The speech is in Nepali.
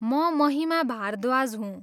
म महिमा भारद्वाज हुँ।